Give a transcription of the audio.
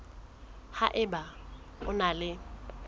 ha eba o na le